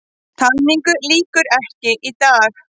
Talningu lýkur ekki í dag